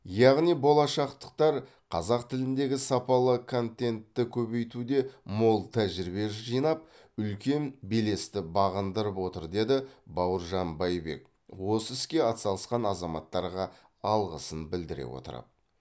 яғни болашақтықтар қазақ тіліндегі сапалы контентті көбейтуде мол тәжірибе жинап үлкен белесті бағындырып отыр деді бауыржан байбек осы іске атсалысқан азаматтарға алғысын білдіре отырып